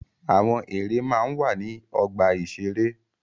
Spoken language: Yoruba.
Àwọn ère máa ń wà ní ọgbà-ìṣeré.